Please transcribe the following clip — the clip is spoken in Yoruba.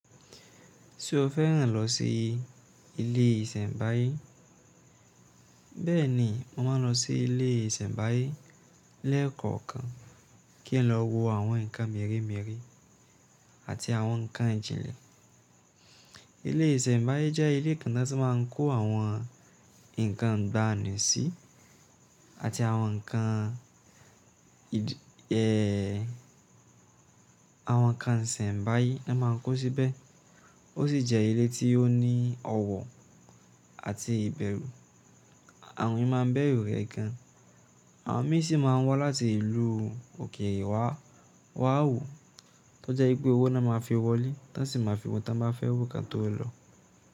Ṣé o fẹ́ ran lọ sí ilé ìsẹ̀mbáyé? Bẹ́ẹ̀ni, o máa lọ sí ilé ìsẹ̀mbáyé lẹ́ẹ̀kankan kí ẹ lọ wo àwọn nǹkan mèremère àti àwọn nǹkan ìjìnlẹ̀. Ilé ìsẹ̀mbáyé jẹ́ ilé kan na tí wọ́n má ń kó àwọn nǹkan ìgbàanì sí àti awon nkan àwọn nǹkan ìsẹ̀mbáyé ni wọ́n má ń kó síbẹ̀. O Ó sì jẹ́ ilé tí ó ní ọwọ́ àti ìbẹ̀rù, àwọn èèyàn máa ń bẹ̀rù rẹ̀ gan. Àwọn míì sí má ń wá láti ìlú òkèèrè wa, wa wá wò, tó jẹ́ wípé owó ni won máa fi wọlé, táń sì máa fi wo ohun tí won bá fẹ́ wò kan tó lọ.